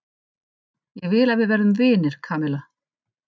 Ég vil að við verðum vinir, Kamilla.